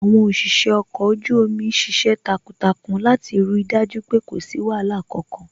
Àwọn òṣìṣẹ́ ọkọ̀ ojú omi ṣiṣẹ́ takuntakun láti rí dájú pé kò sí wàhálà kankan